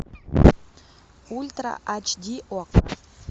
ультра ач ди окко